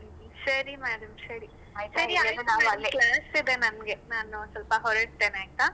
ಸರಿ madam ಸರಿ ನನಗೆ ನಾನು ಸ್ವಲ್ಪ ಹೋರಡ್ತೆನೆ ಆಯ್ತಾ?